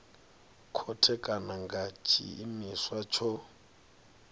khothe kana nga tshiimiswa tsho